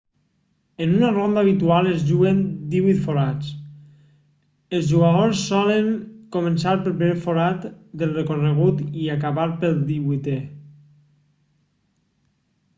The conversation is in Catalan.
en una ronda habitual es juguen divuit forats els jugadors solen començar pel primer forat del recorregut i acabar pel divuitè